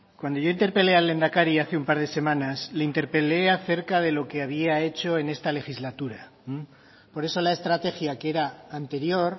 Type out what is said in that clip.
cuando yo interpelé al lehendakari hace un par de semanas le interpelé acerca de lo que había hecho en esta legislatura por eso la estrategia que era anterior